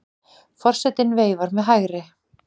Forsetinn veifar með hægri.